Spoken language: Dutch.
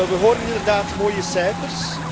We horen inderdaad mooie cijfers.